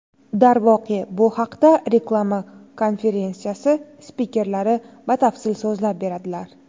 Darvoqe, bu haqda reklama konferensiyasi spikerlari batafsil so‘zlab beradilar.